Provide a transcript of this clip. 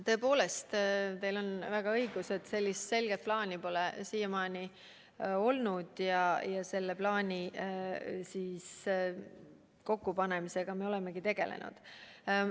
Tõepoolest, teil on õigus, et selget plaani pole siiamaani olnud ja selle plaani kokkupanemisega me olemegi tegelenud.